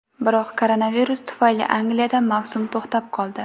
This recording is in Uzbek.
Biroq koronavirus tufayli Angliyada mavsum to‘xtab qoldi.